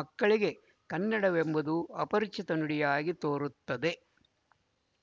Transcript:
ಮಕ್ಕಳಿಗೆ ಕನ್ನಡವೆಂಬುದು ಅಪರಿಚಿತ ನುಡಿಯಾಗಿ ತೋರುತ್ತದೆ